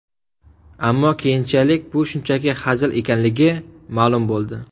Ammo keyinchalik bu shunchaki hazil ekanligi ma’lum bo‘ldi.